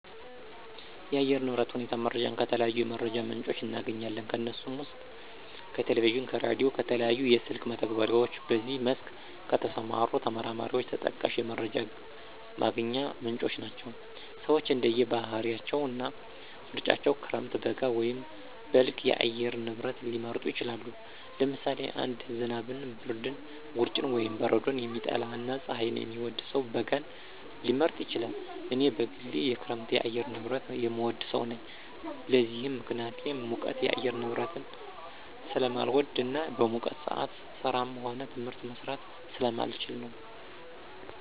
የአየር ንብረት ሁኔታ መረጃን ከተለያዩ የመረጃ ምንጮች እናገኛለን። ከነሱም ውስጥ ከቴሌቪዥን፣ ከራዲዮ፣ ከተለያዩ የስልክ መተግበሪያዎች በዚህ መስክ ከተሰማሩ ተመራማሪዎች ተጠቃሽ የመረጃ ማግኛ ምንጮች ናቸው። ሰወች እንደየ ባህሪያቸው እና ምርጫቸው ክረምት፣ በጋ ወይም በልግ የአየር ንብረት ሊመርጡ ይችላሉ። ለምሳሌ አንድ ዝናብን፣ ብርድን፣ ውርጭን ወይም በረዶን የሚጠላ እና ፀሀይን የሚወድ ሰው በጋን ሊመርጥ ይችላል። እኔ በግሌ የክረምት የአየር ንብረትን የምወድ ሰው ነኝ። ለዚህም ምክንያቴ ሙቀት የአየር ንብረትን ስለማልወድ እና በሙቀት ሰአት ስራም ሆነ ትምህርት መስራት ስለማልችል ነው።